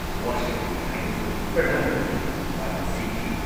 ꯋꯥꯁꯛꯂꯤ ꯍꯥꯏꯅꯁꯨ ꯄ꯭ꯔꯙꯥꯟ ꯃꯟꯇ꯭ꯔꯤꯅ ꯃꯔꯥꯜ ꯁꯤꯈꯤ ꯫